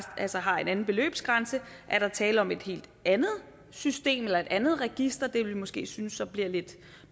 har en anden beløbsgrænse er der tale om et helt andet system eller et andet register det vil vi måske synes bliver lidt